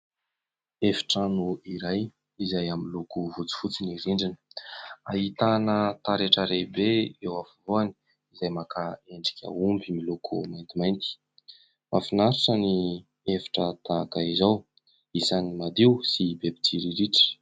Efitrano iray izay amin'ny loko fotsifotsy ny rindrina, ahitana taretra lehibe eo afovoany izay maka endrika omby miloko mantimainty, mahafinaritra ny efitra tahaka izao, isan'ny madio sy be mpitsiriritra.